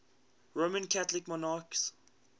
roman catholic monarchs